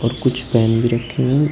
कुछ पेन भी रखी हुई--